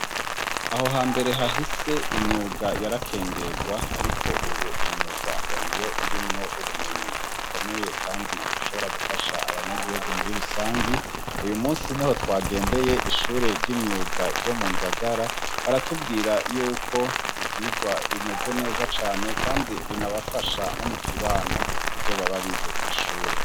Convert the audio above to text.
Aho hambere hahise imyuga yarakengegwa ariko ubu imyuga ngo niyo irimwo ubumenyi bukomeye kandi bushobora gufasha abanyagihugu muri rusangi, uyu musi niho twagendeye ishure ry'imyuga ryo mu Ngagara, baratubwira yuko ivyigwa bimeze neza cane kandi binabafasha no mukibano ivyo baba bize kw'ishure.